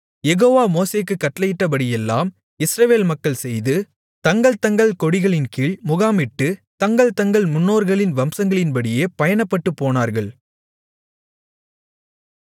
யெகோவா மோசேக்குக் கட்டளையிட்டபடியெல்லாம் இஸ்ரவேல் மக்கள் செய்து தங்கள் தங்கள் கொடிகளின்கீழ் முகாமிட்டு தங்கள் தங்கள் முன்னோர்களின் வம்சங்களின்படியே பயணப்பட்டுப் போனார்கள்